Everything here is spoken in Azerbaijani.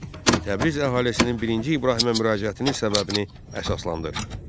Beş: Təbriz əhalisinin birinci İbrahimə müraciətinin səbəbini əsaslandır.